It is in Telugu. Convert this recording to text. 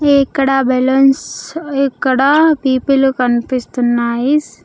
ఇక్కడ బెలూన్స్ ఇక్కడ పిపీలు కనిపిస్తున్నాయిస్.